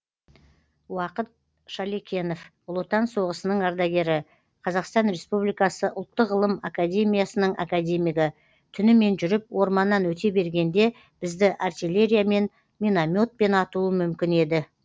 уақыт шалекенов ұлы отан соғысының ардагері қазақстан республикасы ұлттық ғылым академиясының академигі түнімен жүріп орманнан өте бергенде бізді артиллериямен минометпен атуы мүмкін еді